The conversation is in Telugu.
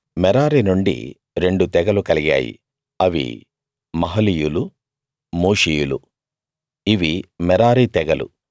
మెరారి నుండి రెండు తెగలు కలిగాయి అవి మహలీయులు మూషీయులు ఇవి మెరారి తెగలు